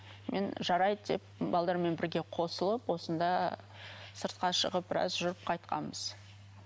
мен жарайды деп бірге қосылып осында сыртқа шығып біраз жүріп қайтқанбыз